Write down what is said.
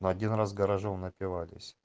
один раз гаражом напивались